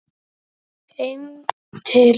Heim til